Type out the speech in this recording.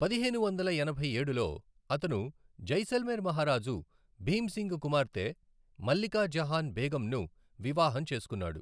పదిహేను వందల ఎనభై ఏడులో, అతను జైసల్మేర్ మహారాజు భీమ్ సింగ్ కుమార్తె మల్లికా జహాన్ బేగంను వివాహం చేసుకున్నాడు.